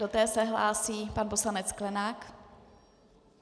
Do té se hlásí pan poslanec Sklenák.